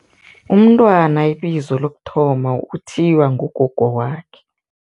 Umntwana ibizo lokuthoma, uthiywa ngugogo wakhe.